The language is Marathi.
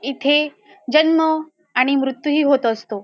इथे जन्म आणि मृत्यू ही होत असतो.